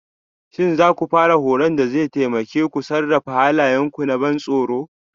Shin za ku fara horon da zai taimake ku sarrafa halayenku na ban tsoro?